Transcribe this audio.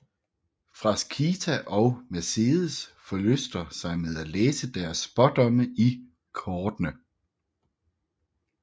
Frasquita og Mercedes forlyster sig med at læse deres spådomme i kortene